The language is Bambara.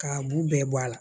K'a b'u bɛɛ bɔ a la